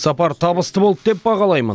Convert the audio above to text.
сапар табысты болды деп бағалаймын